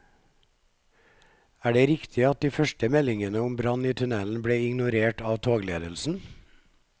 Er det riktig at de første meldingene om brann i tunnelen ble ignorert av togledelsen?